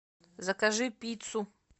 закажи пиццу